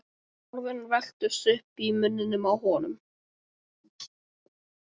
Orðin velktust uppi í munninum á honum.